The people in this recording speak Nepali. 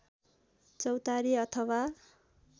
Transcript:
चौतारी अथवा